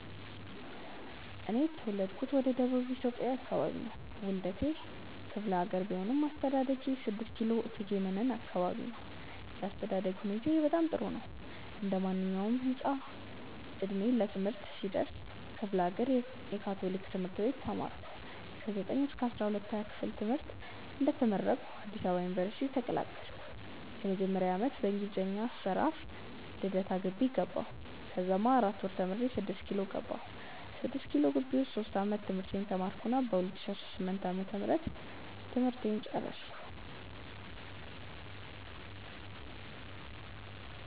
እኔ የተውለድኩት ወደ ደቡብ ኢትዮጵያ አከባቢ ነው። ዉልዴቴ ክፍሌሀገር ቢሆንም አስተዳደጌ 6 ኪሎ እቴጌ መነን አከባቢ ነው። የአስተዳደግ ሁኔታዬ በጣም ጥሩ ነበር። እንዴማንኛዉም ህፃን እድሜ ለትምህርት ሲደርስ ክፍሌሀገር የ ካቶሊክ ትምህርት ቤት ተማርኩኝ። ከ 9ኛ-12ኛ ክፍል ትምህርተን እንደተመረኩ አዲስ አበባ ዩኒቨርሲቲ ተቀላቀልኩ። የመጀመሪያ ዓመት በእንግሊዘኛ አጠራር freshman (ፍሬሽ ) ልደታ ግቢ ገባሁኝ። ከዛማ 4 ወር ተምሬ 6ኪሎ ገባሁኝ። 6ኪሎ ግቢ ዉስጥ ሶስት ዓመት ትምህርቴን ተማርኩና በ 2018 ዓ/ም ትምህርቴን ጨረስኩ።